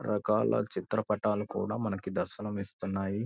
రకాల చిత్రపటాలు కూడా మనకి దర్శనం ఇస్తున్నాయి.